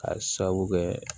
K'a sababu kɛ